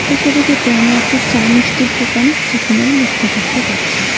এই ছবিটিতে আমরা একটি চা মিষ্টির দোকান প্রথমেই লক্ষ করতে পারছি।